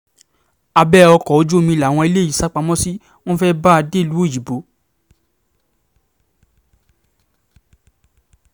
abẹ́ ọkọ̀ ojú omi làwọn eléyìí sá pamọ́ sí wọn fẹ́ẹ́ bá a dẹ́lúu òyìnbó